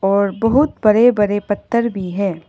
और बहुत बड़े बड़े पत्थर भी है।